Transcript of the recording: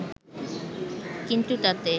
কিন্তু তাতে